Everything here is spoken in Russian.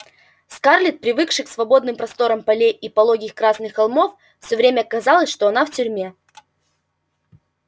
скарлетт привыкшей к свободным просторам полей и пологих красных холмов всё время казалось что она в тюрьме